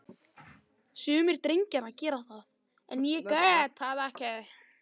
Sumir drengjanna gera það, en ég get það ekki.